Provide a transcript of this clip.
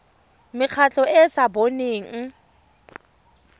mekgatlho e e sa boneng